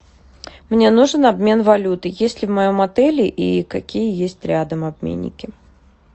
мне нужен обмен валюты есть ли в моем отеле и какие есть рядом обменники